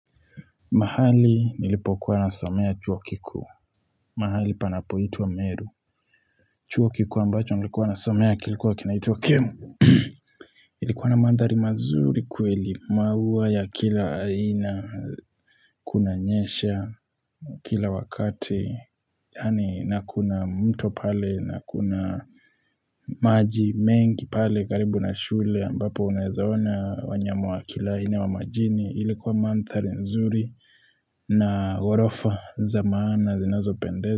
Mahali nilipokuwa nasomea chuo kikuu mahali panapoitwa Meru chuo kikuu ambacho nilikuwa nasomea kilikuwa kinaitwa Kemu ilikuwa na mandhari mazuri kweli maua ya kila aina kunanyesha kila wakati yani na kuna mto pale na kuna maji mengi pale karibu na shule ambapo unawezaona wanyama wa kila aina wa majini ilikuwa mandhari nzuri na gorofa za maana zinazopendeza.